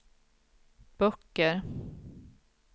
böcker